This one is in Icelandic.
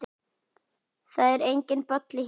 Það er enginn Bolli hér.